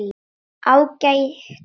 Ágætur völlur.